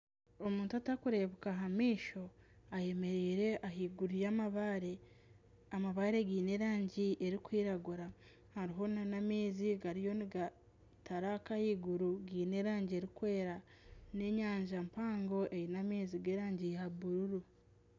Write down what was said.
Omuntu otarikureebeka aha maisho ayemereire ahaiguru y'amabaare. Amabaare gaine erangi erikwiragura, hariho nana amaizi gariyo nigataraka ahaiguru, gaine erangi erikwera. N'enyanja mpango eine amaizi g'erangi ya bururu.